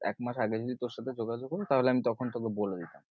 এক মাস আগে যদি তোর সাথে যোগাযোগ হত তাহলে আমি তখন তোকে বলে দিতাম।